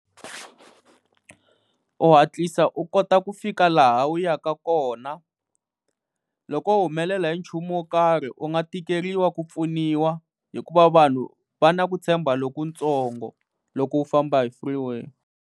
U hatlisa u kota ku fika laha u ya ka kona, loko wo humelela hi nchumu wo karhi u nga tikeriwa ku pfuniwa hikuva vanhu va na ku tshemba loku tsongo loko u famba hi freeway.